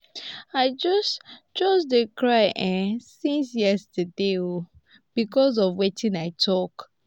i just just dey cry um since yesterday um because of wetin i talk